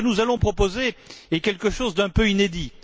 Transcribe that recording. Et ce que nous allons proposer est quelque chose d'un peu inédit.